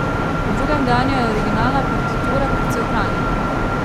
V drugem dejanju je originalna partitura precej ohranjena.